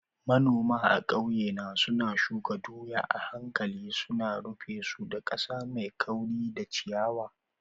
Manoma a ƙauye na suna shuka doya a hankali, suna rufe su da ƙasa mai kauri da ciyawa.